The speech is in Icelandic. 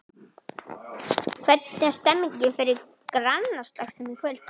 Hvernig er stemningin fyrir grannaslagnum í kvöld?